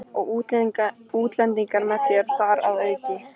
Og útlendingur með þér þar að auki.